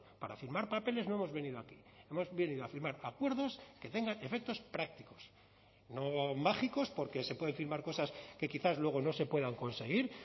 para firmar papeles no hemos venido aquí hemos venido a firmar acuerdos que tengan efectos prácticos no mágicos porque se puede firmar cosas que quizás luego no se puedan conseguir